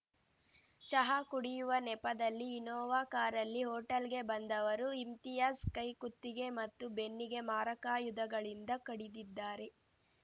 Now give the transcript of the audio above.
ಚಹಾ ಕುಡಿಯುವ ನೆಪದಲ್ಲಿ ಇನೋವಾ ಕಾರಲ್ಲಿ ಹೋಟೆಲ್‌ಗೆ ಬಂದವರು ಇಮ್ತಿಯಾಜ್‌ ಕೈ ಕುತ್ತಿಗೆ ಮತ್ತು ಬೆನ್ನಿಗೆ ಮಾರಕಾಯುಧಗಳಿಂದ ಕಡಿದಿದ್ದಾರೆ